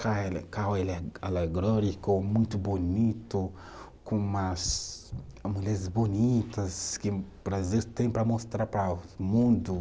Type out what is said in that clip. Muito bonito, com umas mulheres bonitas que o Brasil tem para mostrar para o mundo.